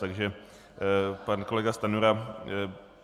Takže pan kolega Stanjura...